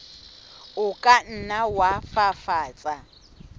o ka nna wa fafatsa